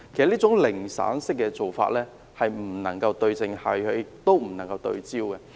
這種"零散式"的做法不能對症下藥，亦不能夠對焦。